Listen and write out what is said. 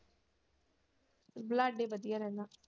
ਬਲਾਡ਼ੇ ਵਧੀਆ ਰਹਿੰਦਾ।